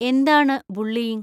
എന്താണ് ബുള്ളിയിങ്?